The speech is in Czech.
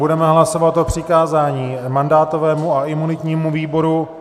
Budeme hlasovat o přikázání mandátovému a imunitnímu výboru.